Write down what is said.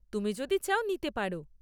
তুমি যদি চাও নিতে পার।